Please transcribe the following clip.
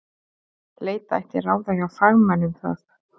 Leita ætti ráða hjá fagmanni um það.